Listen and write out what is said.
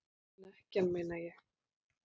Snekkjan, meina ég!